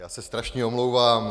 Já se strašně omlouvám.